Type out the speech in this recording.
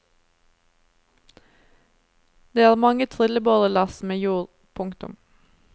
Det er mange trillebårlass med jord. punktum